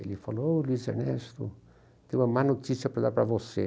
Ele falou, ô Luiz Ernesto, tenho uma má notícia para dar para você.